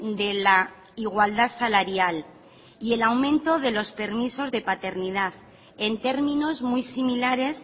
de la igualdad salarial y el aumento de los permisos de paternidad en términos muy similares